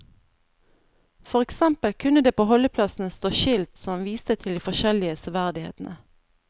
For eksempel kunne det på holdeplassene stå skilt som viste til de forskjellige severdighetene.